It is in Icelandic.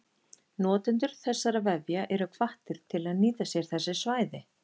Notendur þessara vefja eru hvattir til að nýta sér þessi svæði.